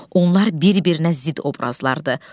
Onlar bir-birinə zidd obrazlardır.